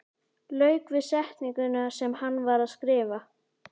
Lauk við setninguna sem hann var að skrifa.